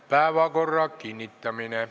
Päevakorra kinnitamine.